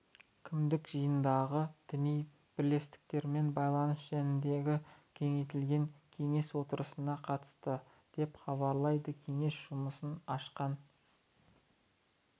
кімдік жанындағы діни бірлестіктермен байланыс жөніндегі кеңейтілген кеңес отырысына қатысты деп хабарлайды кеңес жұмысын ашқан